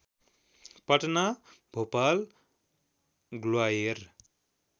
Patna Bhopal Gwalior